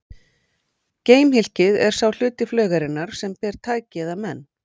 Geimhylkið er sá hluti flaugarinnar sem ber tæki eða menn.